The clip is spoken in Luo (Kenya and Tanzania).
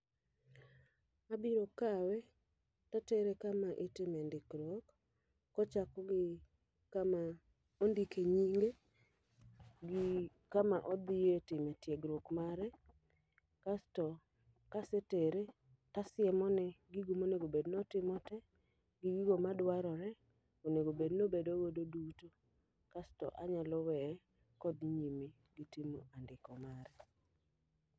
Abiro kawe, tatere kama itime ndikruok. Kochako gi kama ondike nyinge, gi kama odhiye timo tiegruok mare. Kasto, kasetere, tasiemone gigo monegobed notimo te, gi gigo madwarore onegobed nobedo go duto. Kasto anyalo weye kodhi nyime gi timo andiko mare.